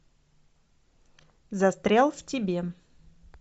застрял в тебе